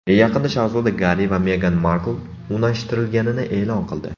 Yaqinda shahzoda Garri va Megan Markl unashtirilganini e’lon qildi.